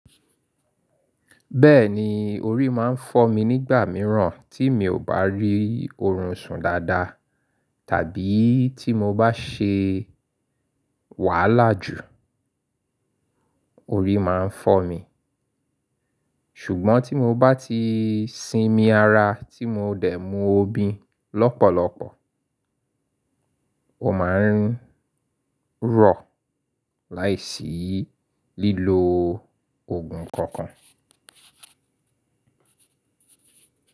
Bẹ́ẹ̀ni, orí máa ń fọ́ mi nígbà mìíràn tí mi ò bá rí oorun sùn dáadáa tàbí tí mo bá ṣe wàhálà jù, orí máa ń fọ́ mi. Ṣùgbọ́n tí mo bá ti sinmi ara tí mo dẹ̀ mu obì lọ́pọ̀lọpọ̀, ó máa ń rọ̀ láìsí lílo òògùn kankan.